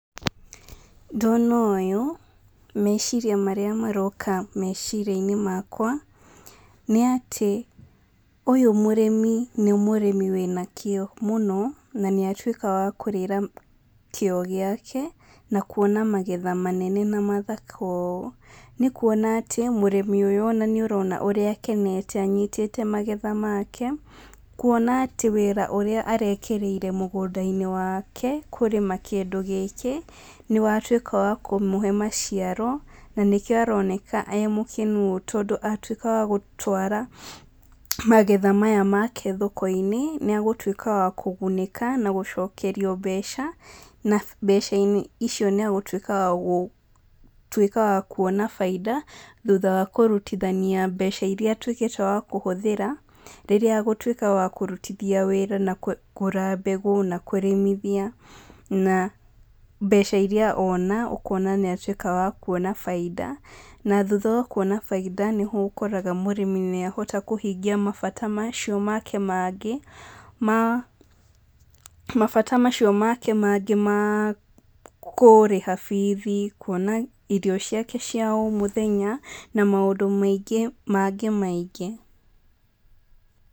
Ndona ũyũ, meciria marĩa maroka meciria-inĩ makwa, nĩ atí, ũyũ mũrĩmi nĩ mũrĩmi wĩna kĩo mũno, na nĩatwĩka wa kũrĩra kĩo gĩake, na kuona magetha manene na mathaka ũũ, nĩ kuona atĩ mũrĩmi ũyũ na nĩũrona ũrĩa akenete anyitĩte magetha make, kuona atĩ wĩra ũrĩa arekĩrĩire mũgũnda-inĩ wake kũrĩma kĩndũ gĩkĩ nĩwatwĩka wa kũmũhe maciaro, na nĩkĩo aroneka e mũkenu ũũ tondũ atĩka wa gũtwara, magetha maya make thoko-inĩ nĩagũtwĩka wa kũgunĩka na gũcokerio mbeca, na mbeca icio níagũtwĩka wagũ, twĩka wa kuona bainda, thutha wa kũrutithania mbeca iria atwĩkĩte wa kũhũthĩra, rĩrĩa agũtwĩka wa kũrutithia wĩra na kũgũra mbegũ nakũrĩmithia, na mbeca iria ona, ũkona nĩatwĩka wa kuona baida, na thutha wa kuona bainda nĩho ũkoraga mũrĩmi nĩahota kũhingia mabata macio make mangĩ ma, mabata macio make mangĩ ma, kũrĩha bithi, kuona irio ciake cia o múthenya, na maũndũ mangĩ maingĩ mangĩ.